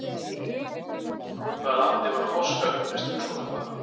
Í hvaða landi var Páskauppreisnin svokallaða?